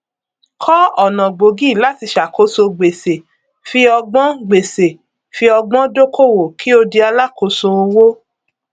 kọ ọnà gbòógì láti ṣàkóso gbèsè fi ọgbọn gbèsè fi ọgbọn dókòwò kí o di alákoso owó